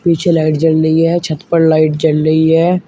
पीछे लाइट जल रही है छत पर लाइट जल रही है।